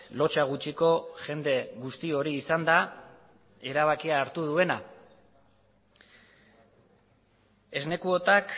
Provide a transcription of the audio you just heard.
lotsa gutxiko jende guzti hori izan da erabakia hartu duena esne kuotak